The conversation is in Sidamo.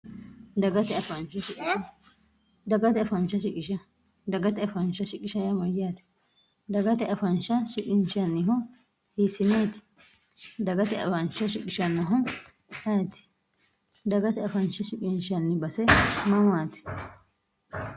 dagate faah sisdagate afaancha siqishm yaate dagate afaansha siqinchanniho hiissineeti dagate afaancha siqishannho hti dagate afancha siqinshanni base mamaate